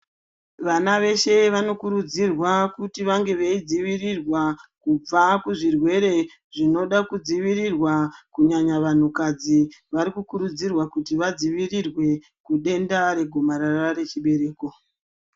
Vana veshe vanokurudzirwa kuti vange veidzivirirwa kubva kuzvirwere zvinoda kudzivirirwa kunyanya vanhukadzi varikukuridzirwa kuti vadzivirirwe kudenda regomarara rechibereko.